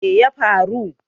me ya faru